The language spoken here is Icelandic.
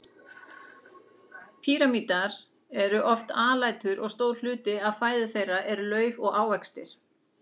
Prímatar eru oft alætur og stór hluti af fæðu þeirra er lauf og ávextir.